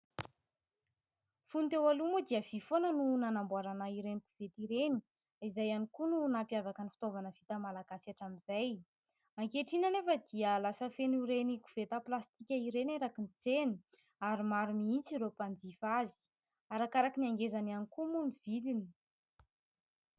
Fony teo aloha moa dia vy foana no nanamboarana ireny koveta ireny izay ihany koa no nampiavaka ny fitaovana vita malagasy hatramin'izay. Ankehitriny anefa dia lasa feno ireny koveta plastika ireny erakin'ny tsena ary maro mihitsy ireo mpanjifa azy. Arakaraka ny angezany ihany koa moa ny vidiny.